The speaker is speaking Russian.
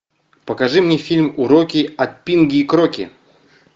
покажи мне фильм уроки от пинги и кроки